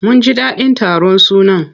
Mun ji daɗin taron sunan.